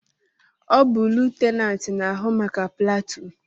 Ọ bu lutenanti n'ahụ maka platuun